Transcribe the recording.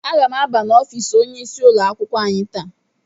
Aga m abanye n'ọfịs onyeisi ụlọ akwụkwọ anyị taa.